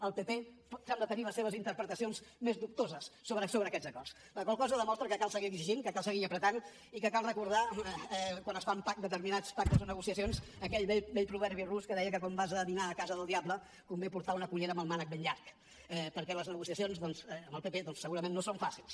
el pp sembla tenir les seves interpretacions més dubtoses sobre aquests acords la qual cosa demostra que cal seguir exigint que cal seguir apretant i que cal recordar quan es fan determinats pactes o negociacions aquell vell proverbi rus que deia que quan vas a dinar a casa del diable convé portar una cullera amb el mànec ben llarg perquè les negociacions amb el pp doncs segurament no són fàcils